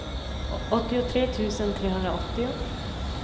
åttiotre tusen trehundraåttio